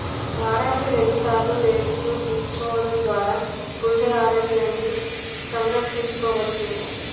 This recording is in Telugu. వారానికి రెండు సార్లు డేట్స్ ను తీసుకోవడం ద్వారా గుండె ఆరోగ్యాన్ని సంరక్షించుకోవచ్చు